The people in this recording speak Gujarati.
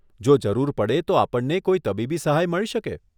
જો જરૂર પડે તો આપણને કોઈ તબીબી સહાય મળી શકે?